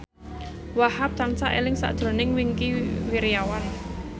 Wahhab tansah eling sakjroning Wingky Wiryawan